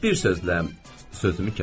Bir sözlə, sözümü kəsdi.